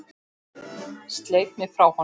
Sleit mig frá honum.